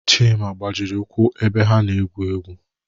Chima gbajiri ụkwụ ebe ha egwu egwu